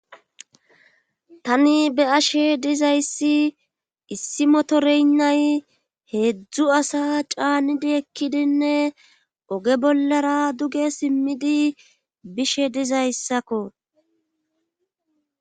tani be ashe dizayssi issi motoreynnay heedzdzu asa caanidi ekkidinne oge bollara duge simmidi bishe dizayssakko